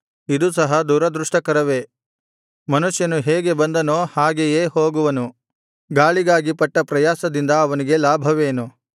ಇದು ಸಹ ದುರದೃಷ್ಟಕರವೇ ಮನುಷ್ಯನು ಹೇಗೆ ಬಂದನೋ ಹಾಗೆಯೇ ಹೋಗುವನು ಗಾಳಿಗಾಗಿ ಪಟ್ಟ ಪ್ರಯಾಸದಿಂದ ಅವನಿಗೆ ಲಾಭವೇನು